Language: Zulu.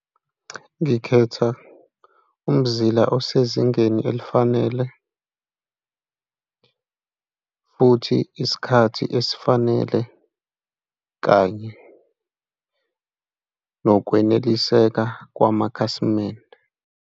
Ngikhetha umzila osezingeni elifanele futhi isikhathi esifanele, kanye nokweneliseka kwamakhasimende.